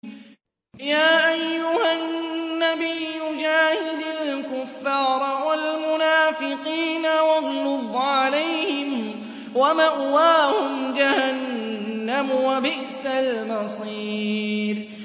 يَا أَيُّهَا النَّبِيُّ جَاهِدِ الْكُفَّارَ وَالْمُنَافِقِينَ وَاغْلُظْ عَلَيْهِمْ ۚ وَمَأْوَاهُمْ جَهَنَّمُ ۖ وَبِئْسَ الْمَصِيرُ